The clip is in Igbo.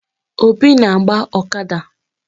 Obi na-agba ọkada.